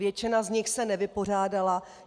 Většina z nich se nevypořádala.